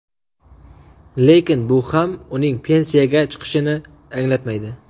Lekin bu ham uning pensiyaga chiqishini anglatmaydi.